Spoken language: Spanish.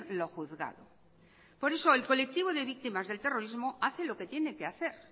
lo juzgado por eso el colectivo de víctimas del terrorismo hace lo que tiene que hacer